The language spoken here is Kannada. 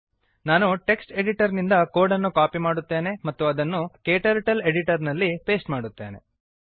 ನಾನು ಟೆಕ್ಸ್ಟ್ ಎಡಿಟರ್ ನಿಂದ ಕೋಡ್ ಅನ್ನು ಕಾಪಿ ಮಾಡುತ್ತೇನೆ ಮತ್ತು ಅದನ್ನು ಕ್ಟರ್ಟಲ್ ಎಡಿಟರ್ ನಲ್ಲಿ ಪೇಸ್ಟ್ ಮಾಡುತ್ತೇನೆ